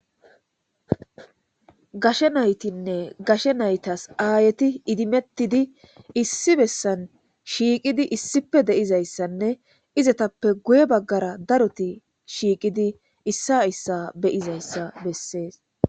Gashshe nayttinne gashshe nayttas ayetti issi bessan shiqidi de'ettes qasse. Qasseka izzeraguyye bagara darotti shiqidi issa issabe'izayssa besses.